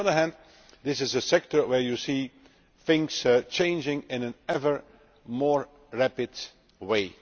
But on the other hand, this is a sector where you see things changing in an ever more rapid way.